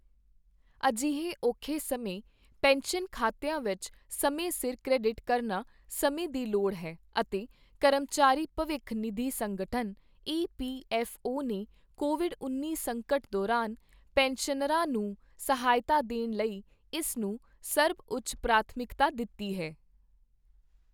ਅਜਿਹੇ ਔਖੇ ਸਮੇਂ ਪੈਨਸ਼ਨ ਖਾਤਿਆਂ ਵਿੱਚ ਸਮੇਂ ਸਿਰ ਕ੍ਰੈਡਿਟ ਕਰਨਾ ਸਮੇਂ ਦੀ ਲੋੜ ਹੈ ਅਤੇ ਕਰਮਚਾਰੀ ਭਵਿੱਖ ਨਿਧੀ ਸੰਗਠਨ ਈ ਪੀ ਐੱਫ ਓ ਨੇ ਕੋਵਿਡ ਉੱਨੀ ਸੰਕਟ ਦੌਰਾਨ ਪੈਨਸ਼ਨਰਾਂ ਨੂੰ ਸਹਾਇਤਾ ਦੇਣ ਲਈ ਇਸ ਨੂੰ ਸਰਬਉੱਚ ਪ੍ਰਾਥਮਿਕਤਾ ਦਿੱਤੀ ਹੈ।